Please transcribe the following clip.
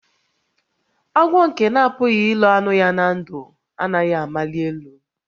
Agwọ nke na-apụghị ilo anụ ya na ndụ, anaghị amali elu